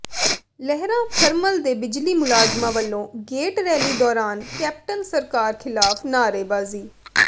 ਲਹਿਰਾ thermal ਦੇ ਬਿਜਲੀ ਮੁਲਾਜ਼ਮਾਂ ਵਲੋਂ ਗੇਟ ਰੈਲੀ ਦੌਰਾਨ ਕੈਪਟਨ ਸਰਕਾਰ ਿਖ਼ਲਾਫ਼ ਨਾਅਰੇਬਾਜ਼ੀ